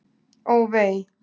Ó, vei!